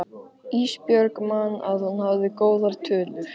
Ísbjörg man að hún hafði góðar tölur.